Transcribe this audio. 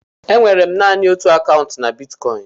E nwere naanị otú akaụntụ na bitkọịn.